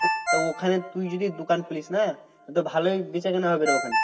তা ওখানে তুই যদি দোকান খুলিস না? তোর তো ভালোই বেচাকেনা হবে রে ওখানে।